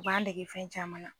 U b'an dege fɛn caman na.